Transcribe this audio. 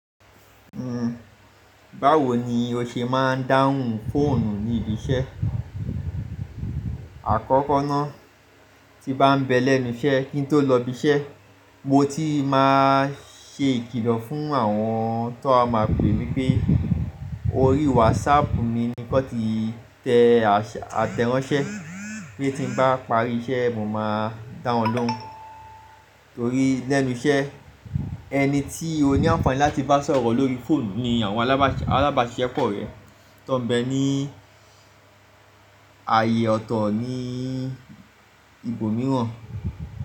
Hhm, báwo ni o ṣe máa ń dáhùn fóònù ní ibi iṣẹ́? Àkọ́kọ́ ná, tí bá ń bẹ lẹ́nu iṣẹ́ kí n tó lọ ibi iṣẹ́, mo ti máa ṣe ìkìlọ̀ fún àwọn tó a máa pè mí pé orí wásaàpù mi ni kọ́ ti tẹ àtẹranṣẹ́. Bí èti bá parí iṣẹ́, mo máa dáhùn lóun. Torí lẹ́nu iṣẹ́, ẹni tí ó ní àǹfààní láti bá sọ̀rọ̀ lórí fóònù ni àwọn alábàáṣiápọ̀ rẹ tó ń bẹ ní ààyè ọ̀tọ̀ ní ibòmíràn.